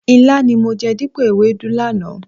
Ilá ni mo jẹ dípò ewédú lánàá.